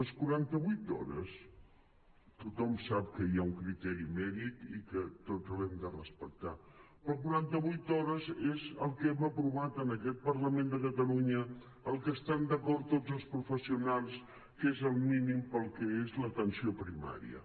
les quaranta vuit hores tothom sap que hi ha un criteri mèdic i que tots l’hem de respectar però quaranta vuit hores és el que hem aprovat en aquest parlament de catalunya en el que estan d’acord tots els professionals que és el mínim per al que és l’atenció primària